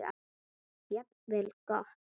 Jafnvel gott.